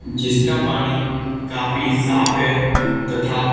जिसका पानी काफी साफ है तथा--